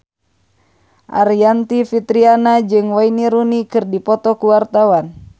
Aryani Fitriana jeung Wayne Rooney keur dipoto ku wartawan